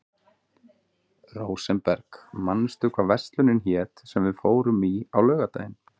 Rósenberg, manstu hvað verslunin hét sem við fórum í á laugardaginn?